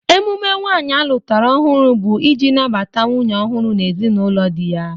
Emume nwaanyị alụtara ọhụrụ bụ ị ji nabata nwunye ọhụrụ n'ezinaụlọ dị ya.